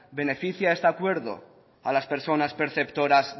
beneficia este acuerdo a las personas perceptoras